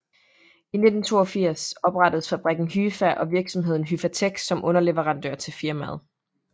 I 1982 oprettedes fabrikken Hyfa og virksomheden Hyfatek som underleverandør til firmaet